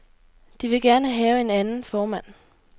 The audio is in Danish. De vil gerne have en anden formand.